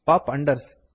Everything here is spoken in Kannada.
ಪಾಪ್ ಅಂಡರ್ಸ್